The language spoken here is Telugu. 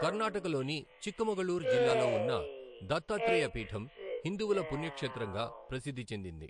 కర్నాటకలోని చిక్కమగళూరు జిల్లాలో ఉన్న దత్తాత్రేయ పీఠం హిందువుల పుణ్యక్షేత్రంగా ప్రసిద్ధి చెందింది.